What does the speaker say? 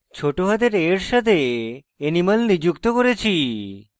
ছোট হাতের অক্ষর a এর সাথে animal নিযুক্ত করেছি